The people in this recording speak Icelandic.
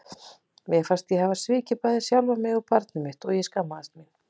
Mér fannst ég hafa svikið bæði sjálfa mig og barnið mitt og ég skammaðist mín.